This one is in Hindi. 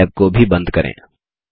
मैल टैब को भी बंद करें